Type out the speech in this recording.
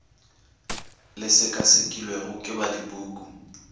le sekasekilwego ke ba dipuku